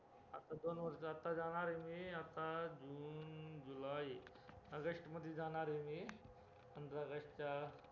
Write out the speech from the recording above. आता दोन वर्ष आता जाणारे मी आता june july august मध्ये जाणारे मी पंधरा august च्या